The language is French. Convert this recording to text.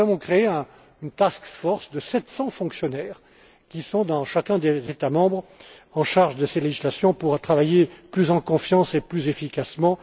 eux. Ainsi, nous avons créé une task force de 700 fonctionnaires qui sont, au sein des différents États membres, en charge de ces législations, pour pouvoir travailler plus en confiance et plus efficacement.